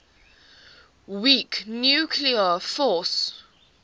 weak nuclear force